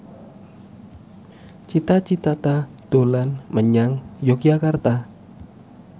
Cita Citata dolan menyang Yogyakarta